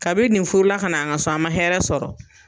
Kabini nin furula ka na an ka so an man hɛrɛ sɔrɔ.